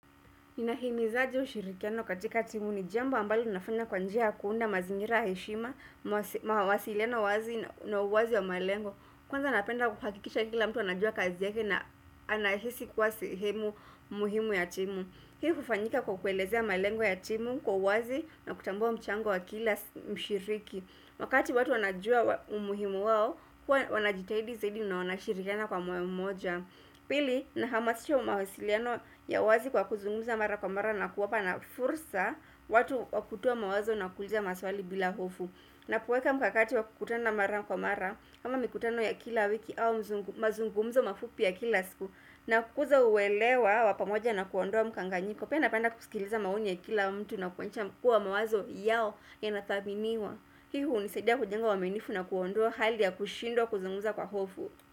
Ninahimiza je ushirikiano katika timu ni jambo ambalo nafanya kwa njia kuunda mazingira heshima mawasiliano wazi na uwazi ya malengo. Kwanza napenda kuhakikisha kila mtu anajua kazi yake na anahisi kuwa sehemu muhimu ya timu. Hii hufanyika kwa kuelezea malengo ya timu kwa uwazi na kutambua mchango wa kila mshiriki. Wakati watu wanajua umuhimu wao, huwa wanajitahidi zaidi na wanashirikiana kwa moyo mmoja. Pili na hamasisho mawasiliano ya wazi kwa kuzungumza mara kwa mara na kuwapa na fursa watu wakutoa mawazo na kuuliza maswali bila hofu. Na kuweka mkakati wakukutana mara kwa mara ama mikutano ya kila wiki au mazungumzo mafupi ya kila siku na kukuzola huelewa pamoja na kuondoa mkanganyiko. Pia napenda kusikiliza maoni ya kila mtu na kuonyesha kuwa mawazo yao yanathaniwa. Hii hunisidia kujenga uaminifu na kuondoa hali ya kushindwa kuzungumza kwa hofu.